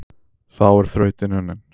Þá er þrautin unnin,